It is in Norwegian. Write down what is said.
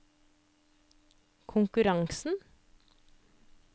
konkurransen